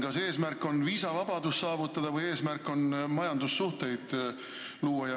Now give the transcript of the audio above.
Kas eesmärk on viisavabadus saavutada või eesmärk on majandussuhteid luua?